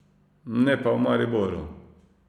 Ne pa v Mariboru.